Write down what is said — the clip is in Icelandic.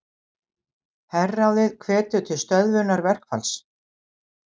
Herráðið hvetur til stöðvunar verkfalls